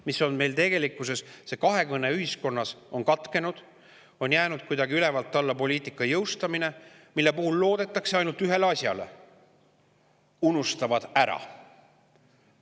Meil on tegelikkuses kahekõne ühiskonnas katkenud, on jäänud ülevalt alla poliitika jõustamine, mille puhul loodetakse ainult ühele asjale: nad unustavad ära.